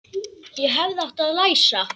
Ég hefði átt að læsa.